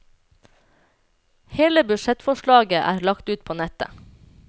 Hele budsjettforslaget er der lagt ut på nettet.